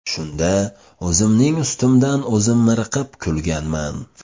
Shunda o‘zimning ustimdan o‘zim miriqib kulganman.